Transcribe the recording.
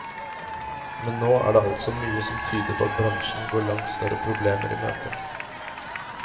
Men nå er det altså mye som tyder på at bransjen går langt større problemer i møte.